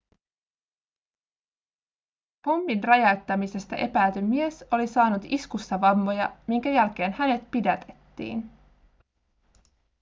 pommin räjäyttämisestä epäilty mies oli saanut iskussa vammoja minkä jälkeen hänet pidätettiin